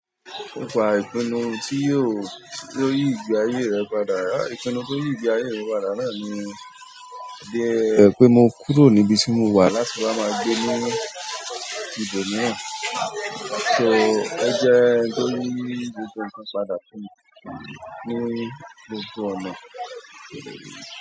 Nípa ìpinnu tí yóò, yóò yí ìgbé ayé rẹ̀ padà. Ìpinnu to yí ìgbé ayé mi padà náà ni bíi, pé mo kúrò níbi tí mo wà láti wa máa gbé ní ibòmíràn. So iyen jẹ́ ohun tó yìí gbogbo nǹkan padà fún mi ní gbogbo ọ̀nà.